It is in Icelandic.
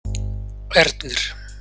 Ernir